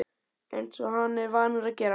Eins og hann er vanur að gera.